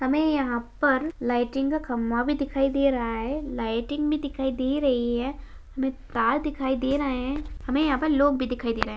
हमें यहाँ पर लाइटिंग का खम्बा भी दिखाई दे रहा है लाइटिंग भी दिखाई दे रही है| हमें तार दिखाई दे रहा है| हमें यहाँ पर लोग भी दिखाई दे रहे हैं।